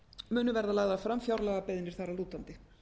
munu verða lagðar fram fjárlagabeiðnir þar að lútandi